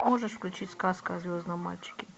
можешь включить сказка о звездном мальчике